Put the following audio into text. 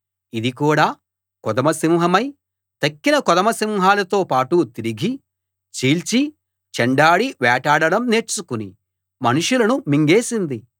ఇది కూడా కొదమ సింహమై తక్కిన కొదమ సింహాలతో పాటు తిరిగి చీల్చి చెండాడి వేటాడడం నేర్చుకుని మనుషులును మింగేసింది